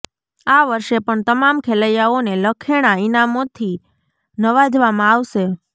આ વર્ષે પણ તમામ ખેલૈયાઓને લખેણા ઈનામોથી નવાજવામાં આવશે